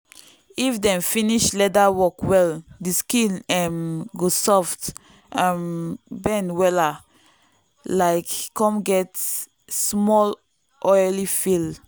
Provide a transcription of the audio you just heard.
if dem finish leather work well the skin um go soft um bend wella um come get small oily feel.